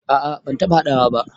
A'a ban taɓa haɗawa ba.